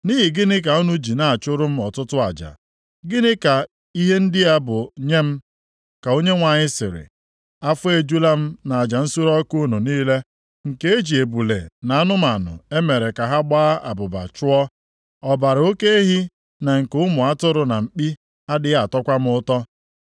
“Nʼihi gịnị ka unu ji na-achụrụ m ọtụtụ aja, gịnị ka ihe ndị a bụ nye m?” ka Onyenwe anyị sịrị. “Afọ ejula m nʼaja nsure ọkụ niile nke eji ebule na anụmanụ e mere ka ha gbaa abụba chụọ; Ọbara oke ehi na nke ụmụ atụrụ na mkpi adịghị atọkwa m ụtọ.